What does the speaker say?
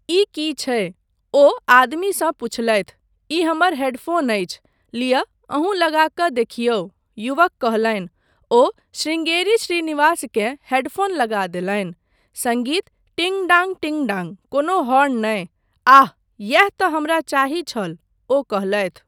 ई की छै? ओ आदमीसँ पूछलथि। ई हमर हेडफ़ोन अछि। लिअऽ, अहुँ लगा कऽ देखिऔ, 'युवक कहलनि। ओ शृंगेरी श्रीनिवासकेँ हेडफ़ोन लगा देलनि। सङ्गीत! टिंग डांग टिंग डांग। कोनो हॉर्न नहि। आह! इएह तँ हमरा चाही छल,' ओ कहलथि।